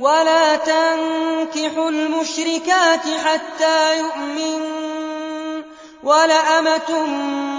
وَلَا تَنكِحُوا الْمُشْرِكَاتِ حَتَّىٰ يُؤْمِنَّ ۚ وَلَأَمَةٌ